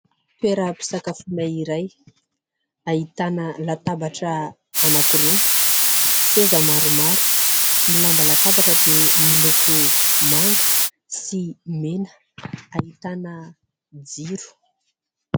toeram-pisakafoana iray ahitana latabatra anakiroa, seza maromaro. Ny lamba latabatra dia moloko manga sy mena. Ahitana jiro.